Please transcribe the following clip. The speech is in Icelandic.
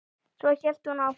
Svo hélt hún áfram